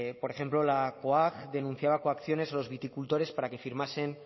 por ejemplo la coag denunciaba coacciones a los viticultores para que firmasen